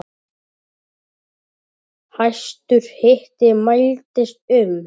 Hæstur hiti mældist um